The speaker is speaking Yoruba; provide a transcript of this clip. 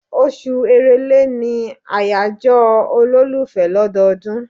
Oṣù Èrèlé ni àyájọ́ olólùfẹ́ lọ́dọọdún.